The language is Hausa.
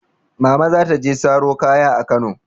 Mama za ta je saro kaya a Kano.